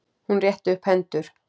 Hún rétti upp hendur.